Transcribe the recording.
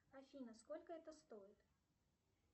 афина сколько это стоит